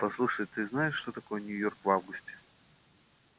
послушай ты знаешь что такое нью-йорк в августе